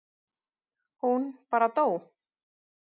Hún bara dó.